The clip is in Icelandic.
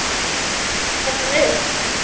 Gera mér hann upp?